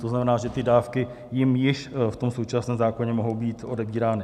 To znamená, že ty dávky jim již v tom současném zákoně mohou být odebírány.